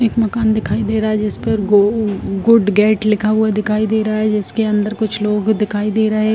एक मकान दिखाई दे रहा है जिस पर गो गुड गेट लिखा हुआ दिखाई दे रहा है जिसके अंदर कुछ लोग दिखाई दे रहे हैं ।